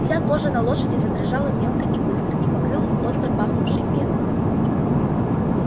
вся кожа на лошади задрожала мелко и быстро и покрылась остро пахнувшей пеной